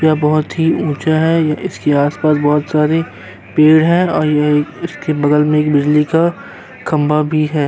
यह बोहोत ही ऊंचा है इसके आस-पास बोहोत सारे पेड़ हैं और ये इसके बगल में एक बिजली का खंभा भी है।